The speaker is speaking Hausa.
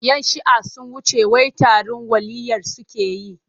Yan shi'ah sun wuce wai taron waliyyai suke yi.